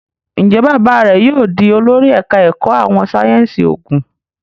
Njé bàbá rẹ yóò dì olórí ẹka èkó àwọn sáyẹnsì oògùn?